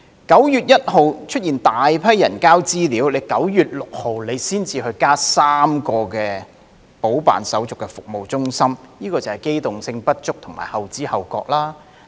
9月1日出現大批人提交資料 ，9 月6日當局才增設3間補辦手續的服務中心，這就是機動性不足及後知後覺。